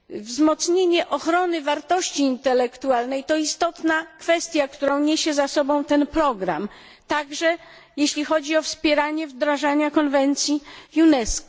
Wzmocnienie ochrony wartości intelektualnej to istotna kwestia, którą niesie ze sobą ten program, także jeśli chodzi o wspieranie wdrażania konwencji UNESCO.